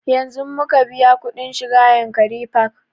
Yanzun muka biya kuɗin shiga yankari park